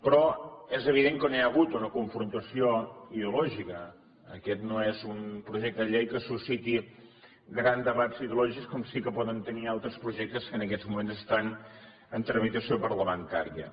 però és evident que no hi ha hagut una confrontació ideològica aquest no és un projecte de llei que susciti grans debats ideològics com sí que poden tenir altres projectes que en aquests moments estan en tramitació parlamentària